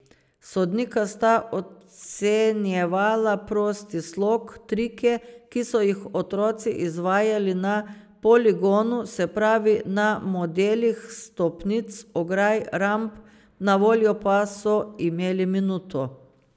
Sodnika sta ocenjevala prosti slog, trike, ki so jih otroci izvajali na poligonu, se pravi, na modelih stopnic, ograj, ramp, na voljo pa so imeli minuto.